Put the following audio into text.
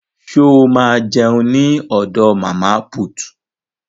Ṣo ma jẹun ní ọ̀dọ̀ màmá put?